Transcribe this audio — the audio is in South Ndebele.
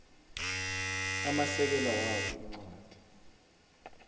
amasekela wabo incwadi